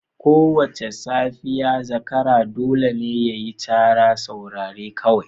Kowace safiya zakara dole ne ya yi cara. Saurari kawai.